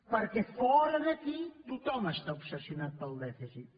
perquè fora d’aquí tothom està obsessionat pel dèficit